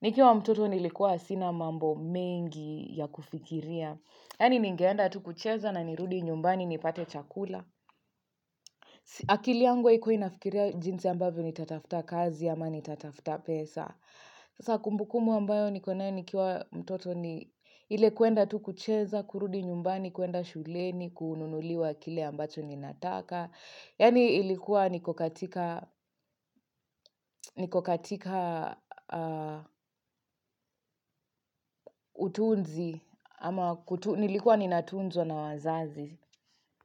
Nikiwa mtoto nilikuwa sina mambo mengi ya kufikiria. Yani nigeenda tu kucheza na nirudi nyumbani nipate chakula. Akili yangu haikua inafikiria jinsi ambavyo nitatafta kazi ama nitatafta pesa. Sasa kumbukumbu ambayo nikonayo nikiwa mtoto ni ile kuenda tu kucheza, kurudi nyumbani, kuenda shuleni, kununuliwa kile ambacho ni nataka. Yani ilikuwa niko katika utunzi ama nilikuwa ni natunzwa na wazazi.